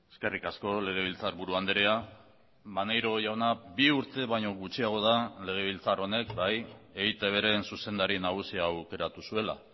eskerrik asko legebiltzarburu andrea maneiro jauna bi urte baino gutxiago da legebiltzar honek bai eitbren zuzendari nagusia aukeratu zuela